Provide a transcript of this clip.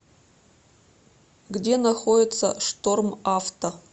где находится штормавто